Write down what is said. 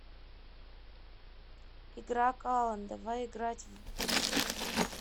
игра калан давай играть в